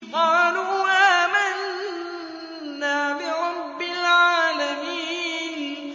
قَالُوا آمَنَّا بِرَبِّ الْعَالَمِينَ